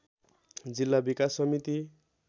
जिल्ला विकास समिति